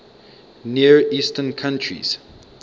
near eastern countries